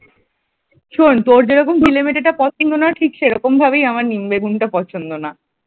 শোন তোর তোর যেরকম গিলে মেটে টা পছন্দ না ঠিক সেরকমভাবেই আমার নিম বেগুনটা পছন্দ না ।